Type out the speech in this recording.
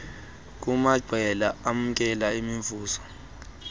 kumaqela amkela imivuzo